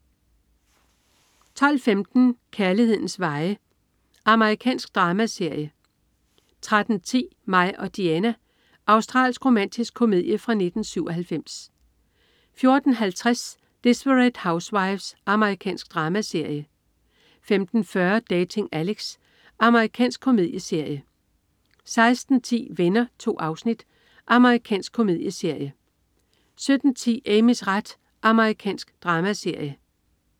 12.15 Kærlighedens veje. Amerikansk dramaserie 13.10 Mig og Diana. Australsk romantisk komedie fra 1997 14.50 Desperate Housewives. Amerikansk dramaserie 15.40 Dating Alex. Amerikansk komedieserie 16.10 Venner. 2 afsnit. Amerikansk komedieserie 17.10 Amys ret. Amerikansk dramaserie